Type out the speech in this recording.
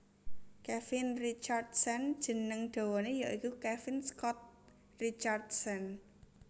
Kevin Richardson jeneng dawané ya iku Kevin Scott Richardson